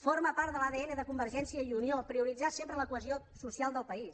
forma part de l’adn de convergència i unió prioritzar sempre la cohesió social del país